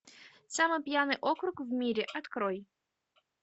самый пьяный округ в мире открой